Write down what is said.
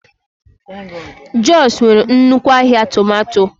Jos nwere nnukwu ahịa tomato.